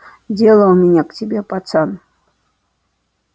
дело у меня к тебе пацан